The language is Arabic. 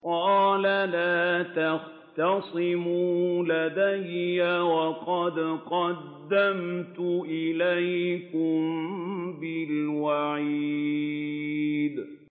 قَالَ لَا تَخْتَصِمُوا لَدَيَّ وَقَدْ قَدَّمْتُ إِلَيْكُم بِالْوَعِيدِ